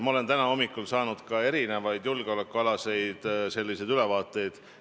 Ma sain täna hommikul erinevaid julgeolekuülevaateid.